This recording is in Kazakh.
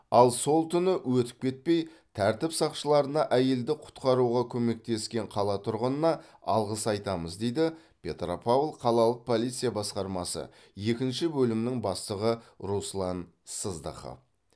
ал сол түні өтіп кетпей тәртіп сақшыларына әйелді құтқаруға көмектескен қала тұрғынына алғыс айтамыз дейді петропавл қалалық полиция басқармасы екінші бөлімнің бастығы руслан сыздықов